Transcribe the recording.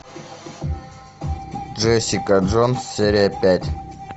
джессика джонс серия пять